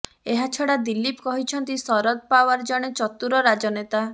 ଏହାଛଡା ଦିଲ୍ଲୀପ କହିଛନ୍ତି ଶରଦ ପାୱାର ଜଶେ ଚତୁର ରାଜନେତା